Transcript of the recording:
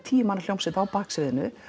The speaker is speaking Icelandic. tíu manna hljómsveit á baksviðinu